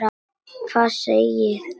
Hvað segið þér?